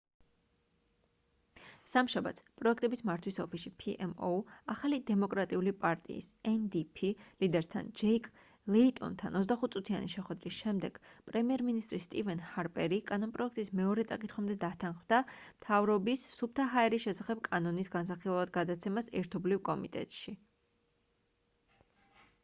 სამშაბათს პროექტების მართვის ოფისში pmo ახალი დემოკრატიული პარტიის ndp ლიდერთან ჯეკ ლეიტონთან 25-წუთიანი შეხვედრის შემდეგ პრემიერ მინისტრი სტივენ ჰარპერი კანონპროექტის მეორე წაკითხვამდე დათანხმდა მთავრობის სუფთა ჰაერის შესახებ კანონის განსახილველად გადაცემას ერთობლივ კომიტეტში